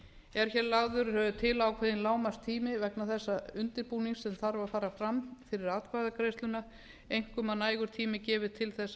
er hér lagður til ákveðinn lágmarkstími vegna þessa undirbúnings sem þarf að fara fram fyrir atkvæðagreiðsluna einkum að nægur tími gefist til þess